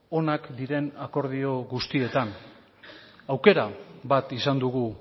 onak diren akordio guztietan aukera bat izan dugu